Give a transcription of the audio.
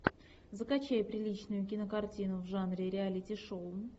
закачай приличную кинокартину в жанре реалити шоу